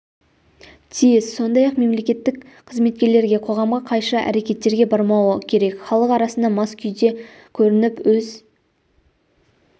тиіс сондай-ақ мемлекеттік қызметкерлер қоғамға қайшы әрекеттерге бармауы керек халық арасына мас күйде көрініп өз